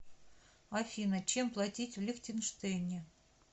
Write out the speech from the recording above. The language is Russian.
афина чем платить в лихтенштейне